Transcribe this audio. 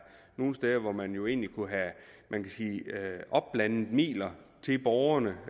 nogle steder hvor man jo egentlig kunne have opblandede midler til borgerne